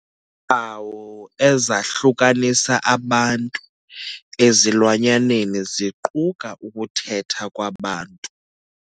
Iimpawu ezahlukanisa abantu ezilwanyaneni ziquka ukuthetha kwabantu.